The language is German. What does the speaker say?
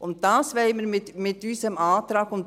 Dies wollen wir mit unserem Antrag erreichen.